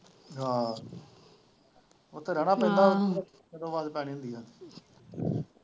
ਆਹੋ ਉੱਥੇ ਰਹਿਣਾ ਪੈਂਦਾ .